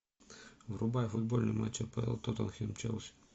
врубай футбольный матч апл тоттенхэм челси